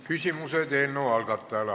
Küsimused eelnõu algatajale.